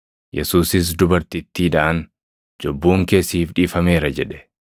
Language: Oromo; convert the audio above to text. Yesuusis dubartittiidhaan, “Cubbuun kee siif dhiifameera” jedhe.